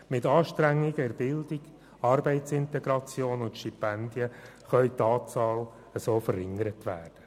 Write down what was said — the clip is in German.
Mit Anstrengungen in der Bildung, Arbeitsintegration und Stipendien kann die Anzahl Sozialhilfeabhängiger verringert werden.